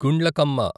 Gundlakamma